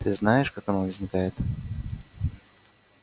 ты знаешь как она возникает